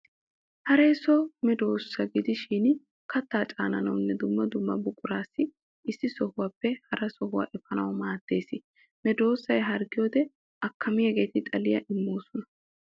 Haree so medoossa gidishin kattaa caananawunne dumma dumma buquraa issi sohuwaappe hara sohuwa efanawu maaddes. Medossay harggiyoode akkamiyaageeti xaliya immoosona.